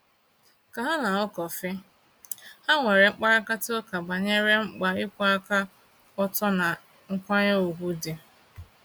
Ka ha na-aṅụ kọfị, ha nwere mkparịtaụka banyere mkpa ịkwụwa aka ọtọ na nkwanye ùgwù dị.